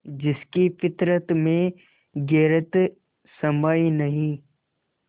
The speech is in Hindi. जिसकी फितरत में गैरत समाई नहीं